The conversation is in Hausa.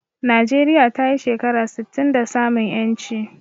Najeriya tayi shekara sittin da samun ƴanci